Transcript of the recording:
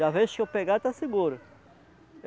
Da vez que eu pegar, está seguro.